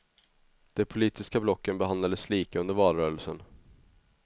De politiska blocken behandlades lika under valrörelsen.